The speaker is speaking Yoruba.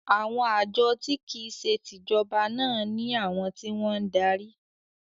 “ Àwọn àjọ tí kìí se tìjọba” náà ní àwọn tí wọ́n ń darí.